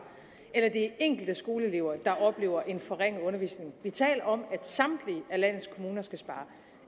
eller det er enkelte skoleelever der oplever en forringet undervisning vi taler om at samtlige landets kommuner skal spare